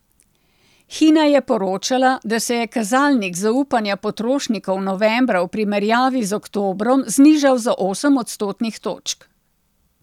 Hina je poročala, da se je kazalnik zaupanja potrošnikov novembra v primerjavi z oktobrom znižal za osem odstotnih točk.